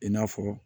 I n'a fɔ